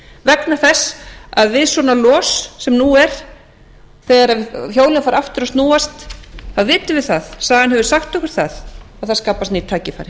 vegna þess að við svona los sem nú er þegar hjólin fara aftur að snúast þá vitum við það sagan hefur sagt okkur það að það skapast ný tækifæri